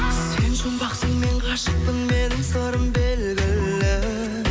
сен жұмбақсың мен ғашықпын менің сырым белгілі